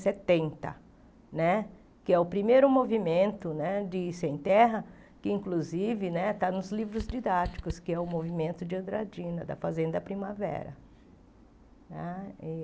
setenta né, que é o primeiro movimento né de Sem Terra, que inclusive né está nos livros didáticos, que é o movimento de Andradina, da Fazenda Primavera.